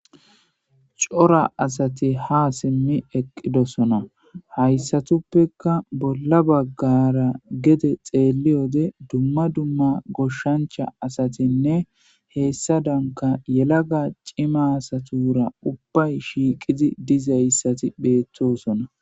cora asati ha simmi eqqidosona hayssatuppeka bolla baggara gede xeelli wode dumma dumma goshshancha asatinne heessa danka yelaga cima asatura ubbay shiiqidi dizayssati beettosona